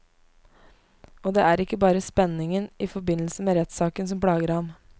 Og det er ikke bare spenningen i forbindelse med rettssaken som plager ham.